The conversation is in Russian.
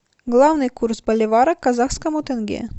главный курс боливара к казахскому тенге